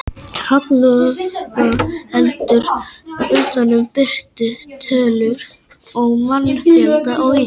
Hagstofan heldur líka utan um og birtir tölur um mannfjölda á Íslandi.